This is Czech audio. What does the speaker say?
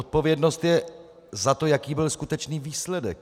Odpovědnost je za to, jaký byl skutečný výsledek.